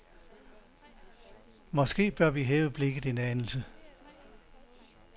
Måske bør vi hæve blikket en anelse.